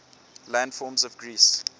landforms of greece